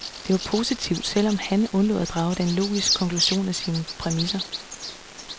Det var positivt, selv om han undlod at drage den logiske konklusion af sine præmisser.